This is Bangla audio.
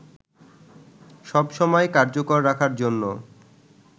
সবসময় কার্যকর রাখার জন্য